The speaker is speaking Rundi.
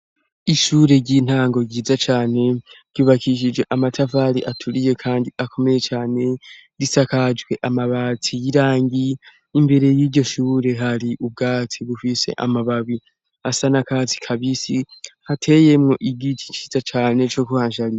Ishure ry'intango ryiza cane ryubakishije amatavali aturiye, kandi akomeye cane risakajwe amabatsi yirangie imbere y'iryo shuure hari ubwatsi bufise amababi asa na kazi kabisi hateyemwo igiti ciza cane co kuhanshaniwa.